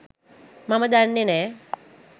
මම දන්නෙ නෑ.